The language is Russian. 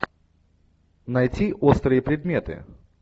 найти острые предметы